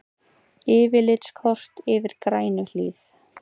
Yfirlitskort yfir Grænuhlíð.